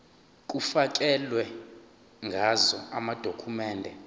kufakelwe ngazo amadokhumende